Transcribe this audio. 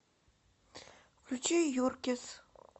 включи юркисс